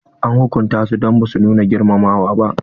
An hukunta su don ba su nuna girmamawa ba.